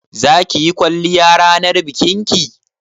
Za ki yi kwalliya ranar bikin ki?